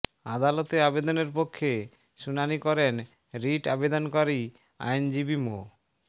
আদালতে আবেদনের পক্ষে শুনানি করেন রিট আবেদনকারী আইনজীবী মো